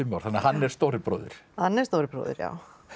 þannig að hann er stóri bróðir hann er stóri bróðir já